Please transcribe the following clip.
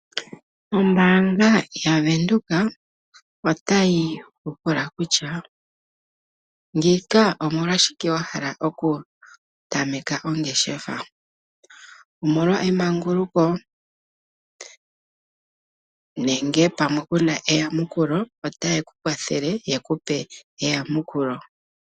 Ombaanga yaVenduka otayi ku pula kutya ngiika omolwashike wa hala okutameka ongeshefa. Omolwa emanguluko nenge pamwe ku na eyamukulo? Otaye ku kwathele ye ku pe eyamukulo.